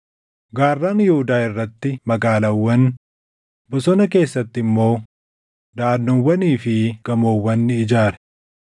Gaarran Yihuudaa irratti magaalaawwan, bosona keessatti immoo daʼannoowwanii fi gamoowwan ni ijaare.